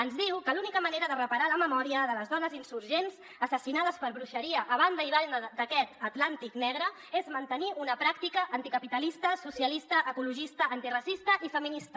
ens diu que l’única manera de reparar la memòria de les dones insurgents assassinades per bruixeria a banda i banda d’aquest atlàntic negre és mantenir una pràctica anticapitalista socialista ecologista antiracista i feminista